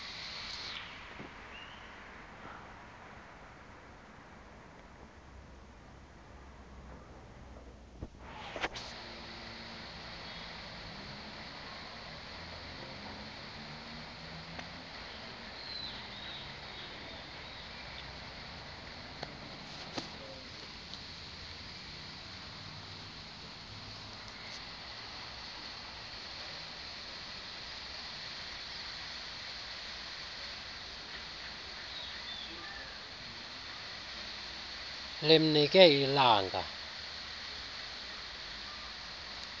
limkile ilanga ziirnfaneie